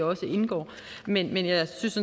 også indgår men jeg synes